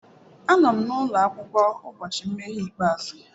Anọ m n'ụlọ akwụkwọ ụbọchị nmeghe ikpeazụ.